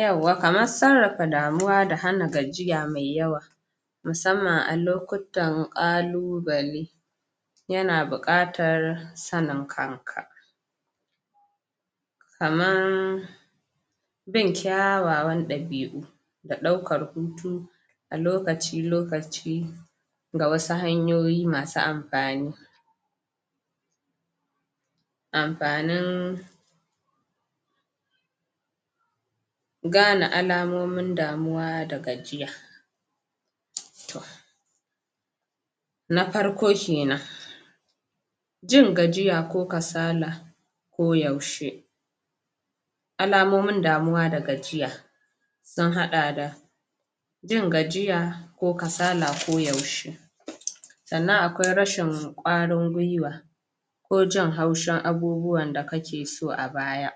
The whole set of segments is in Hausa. Yauwa! Kamar sarrafa damuwa da hana gajiya mai yawa musamman a lokutan ƙalubale yana buƙatar sanin kanka kaman bin kyawawan ɗabi'u da ɗaukar hutu a lokaci-lokaci ga wasu hanyoyi masu amfani amfanin gane alamomin damuwa da gajiya na farko kenan jin gajiya ko kasala ko yaushe alamomin damuwa da gajiya sun haɗa da jin gajiya ko kasala ko yaushe sannan akwai rashin ƙwarin guiwa ko jin haushin abubuwan da kake so a baya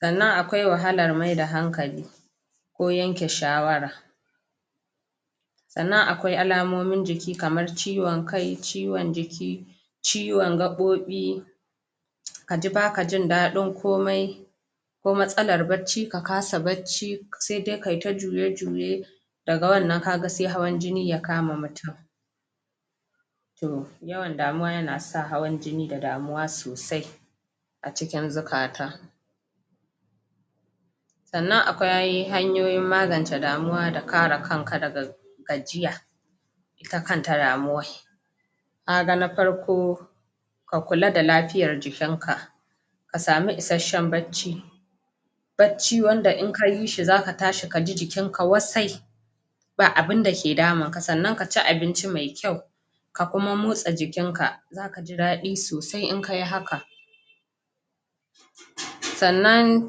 sannan akwai wahalar maida hankali ko yanke shawara sannan akwai alamomin jiki kamar ciwon kai ciwon jiki ciwon gaɓoɓi ka ji ba ka jin daɗin komai ko matsalar barci ka kasa barci sai dai ka yi ta juye-juye daga wannan ka ga sai hawan-jini ya kama mutum to yawan damuwa yana sa hawan-jini da damuwa sosai a cikin zukata sannan akwai hanyoyin magance damuwa da kare kanka daga gajiya ita kanta damuwar ka ga na farko ka kula da lafiyar jiikinka ka samu isasshen barci barci wanda in ka yi shi zaka tashi ka ji jikinka wasai ba bain dake damunka sannan ka ci abinci mai kyau ka kuma motsa jikinka za ka ji daɗi sosai in ka yi haka sannan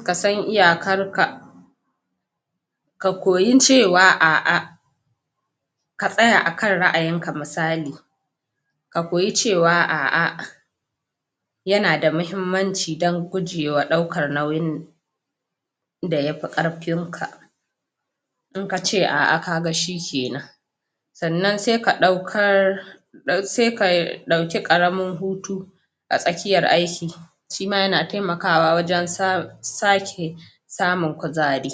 ka san iyakarka ka koyi cewa a'a ka tsaya a kan ra'ayinka misali ka kopyi cewa a'a yana da mahimmanci don gujewa ɗaukar nauyin da ya fi ƙarfinka in kace a'a ka ga shikenan sannan sai ka ɗaukar sai ka ɗauki ƙaramin hutu a tsakiyar aiki shi ma yana taimakawa wajen sa...sake samun kuzari.